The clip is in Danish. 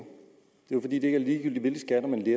er jo fordi det ikke er ligegyldigt hvilke skatter man